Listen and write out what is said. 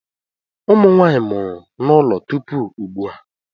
Ụmụ Nwaanyị mụrụ n'ụlọ tupu ugbu a.